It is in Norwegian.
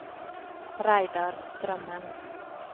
Reidar Strømmen